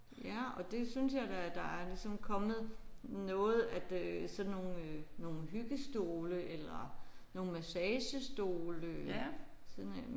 Ja og det synes jeg da der er ligesom kommet noget at øh sådan nogle nogle hyggestole eller nogle massagestole sådan en